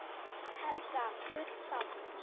Helga: Full sátt?